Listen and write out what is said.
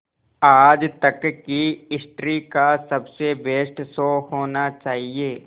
आज तक की हिस्ट्री का सबसे बेस्ट शो होना चाहिए